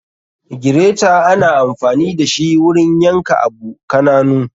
Gireta ana anfani dashi wurin yan ka abu kananu.